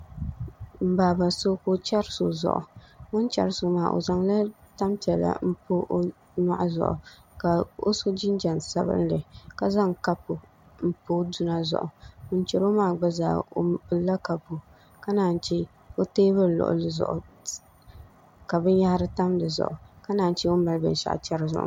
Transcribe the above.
N baaba so ka o chɛri so zuɣu o ni chɛri so maa o zaŋla tanpiɛlli n pa o nyoɣu zuɣu ka o so jinjɛm sabinli ka zaŋ kapu n pa i duna zuɣu ŋun chɛro maa gba zaa o pilila kapu ka naan chɛ o teebuli luɣuli zuɣu ka binyahari tam dizuɣu ka naan chɛ o ni mali binshaɣu chɛri zuɣu maa